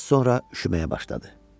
Az sonra üşüməyə başladı.